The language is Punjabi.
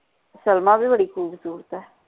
ਸਲਮਾ ਵੀ ਬੜੀ cute cute ਆ